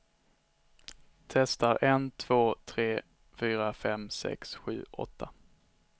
Testar en två tre fyra fem sex sju åtta.